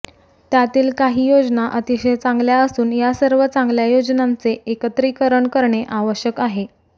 त्यातील काही योजना अतिशय चांगल्या असून या सर्व चांगल्या योजनांचे एकत्रिकरण करणे आवश्यक आहे